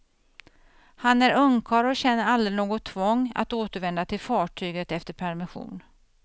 Han är ungkarl och känner aldrig något tvång att återvända till fartyget efter permission.